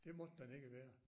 Det måtte den ikke være